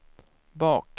bak